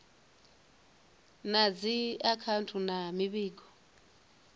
na dzi akhouthu na mivhigo